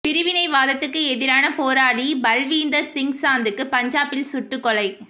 பிரிவினைவாதத்துக்கு எதிரான போராளி பல்வீந்தா் சிங் சாந்து பஞ்சாபில் சுட்டுக் கொலை